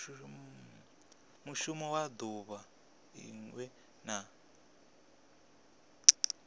mushumo wa duvha linwe na